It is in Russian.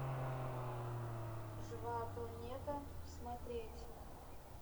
живая планета смотреть